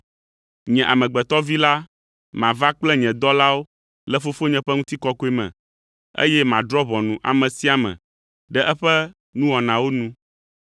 Nye Amegbetɔ Vi la mava kple nye dɔlawo le Fofonye ƒe ŋutikɔkɔe me, eye madrɔ̃ ʋɔnu ame sia ame ɖe eƒe nuwɔnawo nu.